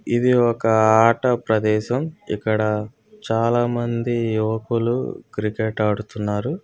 ఇది ఒక ఆట ప్రదేశంఇక్కడ చాలామంది యువకులు క్రికెట్ ఆడుతున్నారు.